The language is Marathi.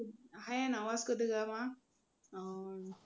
आहे ना Vasco da gama अं